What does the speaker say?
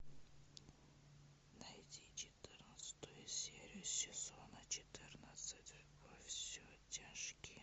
найди четырнадцатую серию сезона четырнадцать во все тяжкие